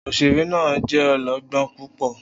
Oṣere naa jẹ ọlọgbọn pupọ